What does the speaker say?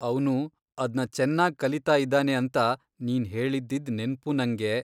ಅವ್ನು ಅದ್ನ ಚೆನ್ನಾಗ್ ಕಲೀತಾ ಇದ್ದಾನೆ ಅಂತ ನೀನ್ ಹೇಳಿದ್ದಿದ್ ನೆನ್ಪು ನಂಗೆ.